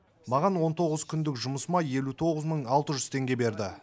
маған он тоғыз күндік жұмысыма елу тоғыз мың алты жүз теңге берді